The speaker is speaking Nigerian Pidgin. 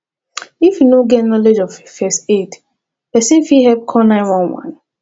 if you no get knowlege of first aid persin fit help call 911